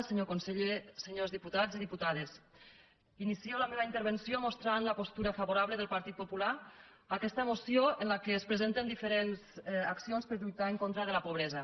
senyor conseller senyors diputats i diputades inicio la meva intervenció mostrant la postura favorable del partit popular a aquesta moció en què es presenten diferents accions per a lluitar contra la pobresa